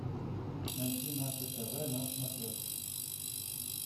найти наше тв на смотрешке